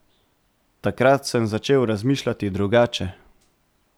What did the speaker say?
Takrat sem začel razmišljati drugače.